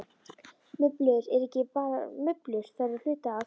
Mublur eru ekki bara mublur, þær eru hluti af.